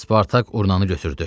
Spartak urnanı götürdü.